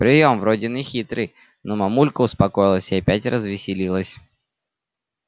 приём вроде нехитрый но мамулька успокоилась и опять развеселилась